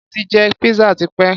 Mo ti jẹ pizza tipé.